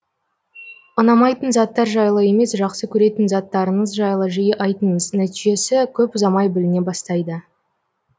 ұнамайтын заттар жайлы емес жақсы көретін заттарыңыз жайлы жиі айтыңыз нәтижесі көп ұзамай біліне бастайды